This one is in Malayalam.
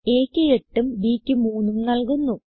aക്ക് 8ഉം b ക്ക് 3ഉം നല്കുന്നു